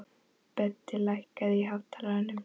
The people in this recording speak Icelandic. Böddi, lækkaðu í hátalaranum.